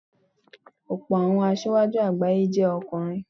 Ọ̀pọ̀ àwọn asíwájú àgbáyé jẹ́ ọkùnrin.